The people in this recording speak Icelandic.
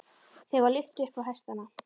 Þeim var lyft upp á hestana.